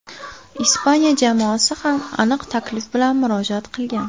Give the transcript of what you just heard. Ispaniya jamoasi ham aniq taklif bilan murojaat qilgan.